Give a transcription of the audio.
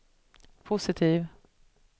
positiv